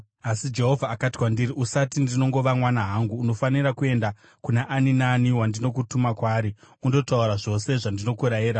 Asi Jehovha akati kwandiri, “Usati, ‘Ndinongova mwana hangu.’ Unofanira kuenda kuna ani naani wandinokutuma kwaari undotaura zvose zvandinokurayira.